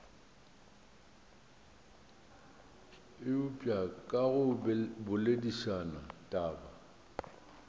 eupša ka go boledišana taba